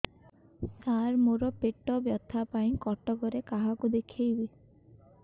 ସାର ମୋ ର ପେଟ ବ୍ୟଥା ପାଇଁ କଟକରେ କାହାକୁ ଦେଖେଇବି